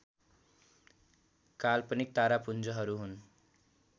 काल्पनिक तारापुञ्जहरू हुन्